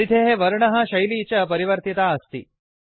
परिधेः वर्णः शैली च परिवर्तिता अस्ति